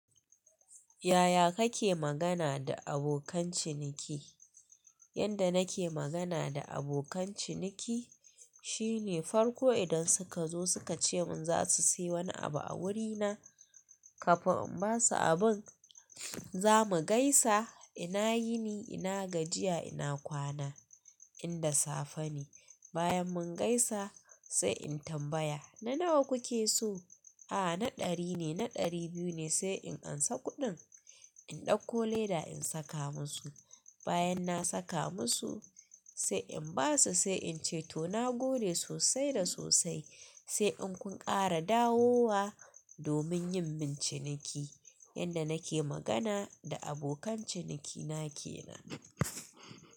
Yaya kake magana da abokan ciniki? Yanda nake magana da abokan ciniki shine farko idan suka zo suka ce mun za su sayi wani abu a wurina, kafin in basu abin, zamu gaisa ina yini? Ina gajiya? Ina kwana? Inda safe ne. Bayan mun gaisa sai in tambaya, "na nawa kuke so?" A'a, na ɗari ne, na ɗari biyu ne sai in ansa kuɗin, in ɗauko leda in saka musu. Bayan na saka musu sai in basu sai in ce to na gode sosai da sosai. Sai in kun ƙara dawowa domin yin min ciniki. Yanda nake magana da abokan cinikina kenan.